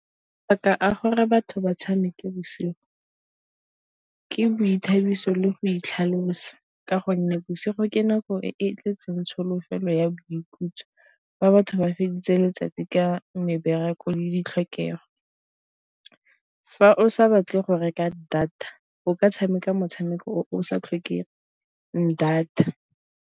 a gore batho ba tshameke bosigo ke boithabiso le go itlhalosa, ka gonne bosigo ke nako e e tletseng tsholofelo ya boikhutso ba batho ba feditse letsatsi ka mebereko le ditlhokego. Fa o sa batle go reka data o ka tshameka motshameko o sa tlhokeng data.